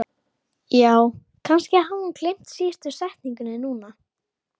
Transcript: Ingimundur var ákaflega myndarlegur, hár, grannur og spengilegur.